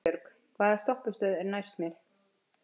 Vinbjörg, hvaða stoppistöð er næst mér?